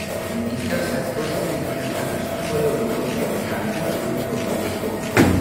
Minister vseskozi zanika kakršnokoli vlogo pri menjavi nadzornikov v Luki Koper.